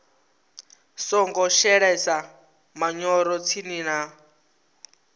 songo shelesa manyoro tsini na